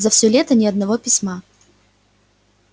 за всё лето ни одного письма